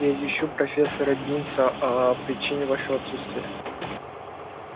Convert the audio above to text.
я извещу профессора бинса о причине вашего отсутствия